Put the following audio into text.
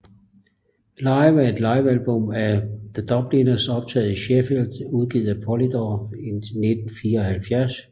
Live er et livealbum af The Dubliners optager i Sheffield udgivet af Polydor i 1974